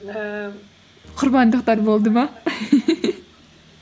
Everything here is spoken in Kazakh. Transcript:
ііі құрбандықтар болды ма